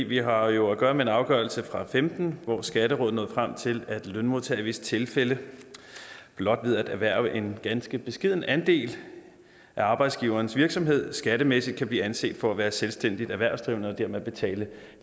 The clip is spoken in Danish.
vi har jo at gøre med en afgørelse og femten hvor skatterådet er nået frem til at lønmodtagere i visse tilfælde blot ved at erhverve en ganske beskeden andel af arbejdsgiverens virksomhed skattemæssigt kan blive anset for at være selvstændigt erhvervsdrivende og dermed betale en